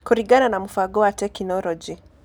Kũringana na Mũbango wa Tekinoronjĩ